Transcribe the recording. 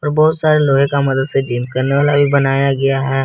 बहोत सारे लोहे का मदद से जिम करने वाला भी बनाया गया है।